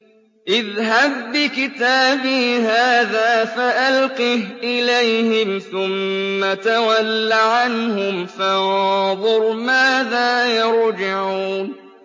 اذْهَب بِّكِتَابِي هَٰذَا فَأَلْقِهْ إِلَيْهِمْ ثُمَّ تَوَلَّ عَنْهُمْ فَانظُرْ مَاذَا يَرْجِعُونَ